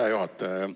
Hea juhataja!